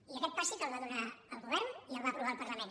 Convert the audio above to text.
i aquest pas sí que el va fer el govern i el va aprovar el parlament